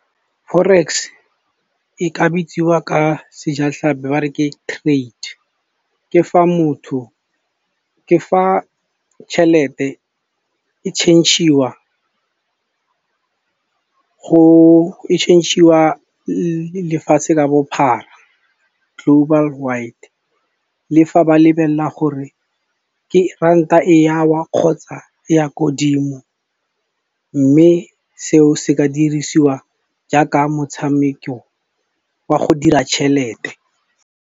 Forex e ka bitsiwa ka sejatlhapi ba re ke trade. Ke fa tšhelete e change-iwa lefatshe ka bophara global wide. Le fa ba lebelela gore ke ranta e ya wa kgotsa e ya ko dimo, mme seo se ka dirisiwa jaaka motshameko wa go dira tšhelete.